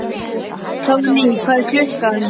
Hróðný, hvað er klukkan?